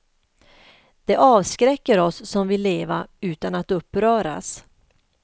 Det avskräcker oss som vill leva utan att uppröras.